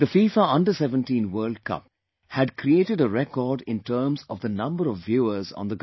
FIFA Under 17 World Cup had created a record in terms of the number of viewers on the ground